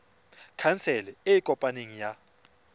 khansele e e kopaneng ya